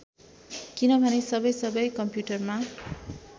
किनभने सबै सबै कम्पुटरमा